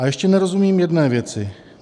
A ještě nerozumím jedné věci.